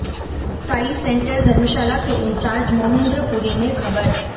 Sai centre Dharamshala के incharge Mohindra Puri ने खबर